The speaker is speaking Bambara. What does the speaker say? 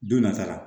Don nata la